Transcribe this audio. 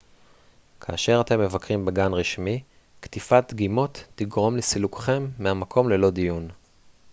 כאשר אתם מבקרים בגן רשמי קטיפת דגימות תגרום לסילוקכם מהמקום ללא דיון